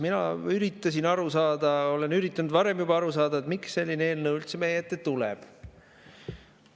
Mina üritasin aru saada, olen üritanud varem juba aru saada, miks selline eelnõu üldse meie ette tuleb.